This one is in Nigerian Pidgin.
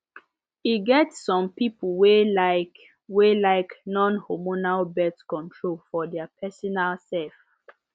e get some people wey lyk wey lyk non hormonal birth control for their personal sef